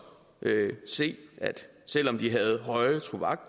se at selv om de havde høje